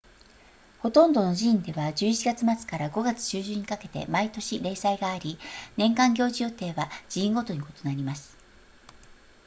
ほとんどの寺院では11月末から5月中旬にかけて毎年例祭があり年間行事予定は寺院ごとに異なります